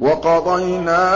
وَقَضَيْنَا